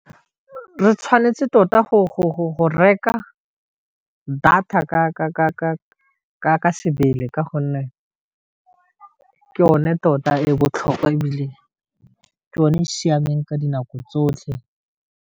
Re tshwanetse tota go reka data ka sebele ka gonne ke yone tota e botlhokwa e bile ke yone e e siameng ka dinako tsotlhe.